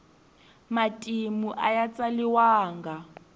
matimu aya tsaliwanga